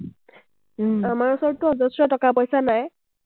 আমাৰ ওচৰতটো অজশ্ৰ টকা-পইচা নাই।